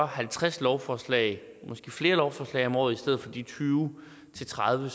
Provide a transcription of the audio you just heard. halvtreds lovforslag måske flere lovforslag om året i stedet for de tyve til tredive